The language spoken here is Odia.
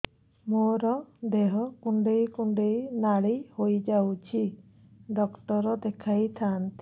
ମୋର ଦେହ କୁଣ୍ଡେଇ କୁଣ୍ଡେଇ ନାଲି ହୋଇଯାଉଛି ଡକ୍ଟର ଦେଖାଇ ଥାଆନ୍ତି